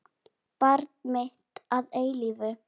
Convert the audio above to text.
Barn mitt að eilífu.